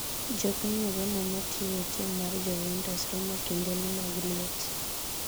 jopiny Uganda ma tije e tim mar Joventus rumo kindeni mag liet